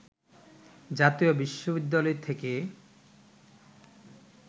জাতীয় বিশ্ববিদ্যালয় থেকে